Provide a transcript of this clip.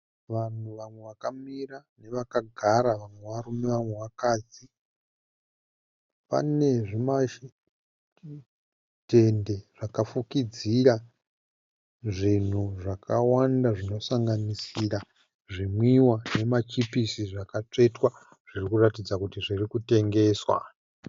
Vanhu vamwe vakamira nevakagara, vamwe varume vamwe vakadzi. Pane zvimatende zvakafukidzira zvinhu zvakawanda zvinosanganisira zvimwiwa nemachipisi zvakatsvetwa zviri kuratidza kuti zviri kutengeswa.